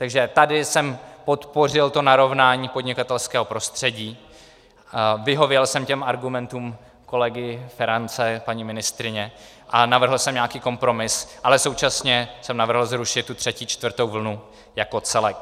Takže tady jsem podpořil to narovnání podnikatelského prostředí, vyhověl jsem těm argumentům kolegy Ferance, paní ministryně a navrhl jsem nějaký kompromis, ale současně jsem navrhl zrušit tu třetí, čtvrtou vlnu jako celek.